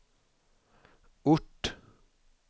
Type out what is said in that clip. ort